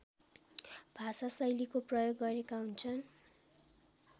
भाषाशैलीको प्रयोग गरेका हुन्छन्